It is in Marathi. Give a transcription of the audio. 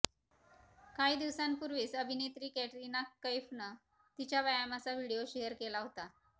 काही दिवसांपूर्वीच अभिनेत्री कॅटरिना कैफनं तिच्या व्यायामाचा व्हिडिओ शेअर केला होता